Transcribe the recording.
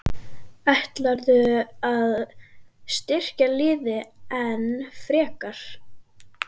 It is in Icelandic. Ætlarðu að styrkja liðið enn frekar?